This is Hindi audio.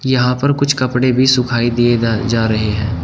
यहां पर कुछ कपड़े भी सुखाई दिए जा रहे हैं।